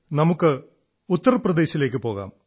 നമുക്ക് ഉത്തർ പ്രദേശിലേക്കു പോകാം